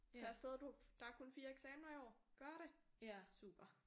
Så afsted du der er kun 4 eksaminer år. Gør det! Super